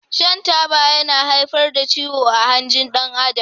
Shan Taba yana haifar da ciwo ah hanjin dan Adam.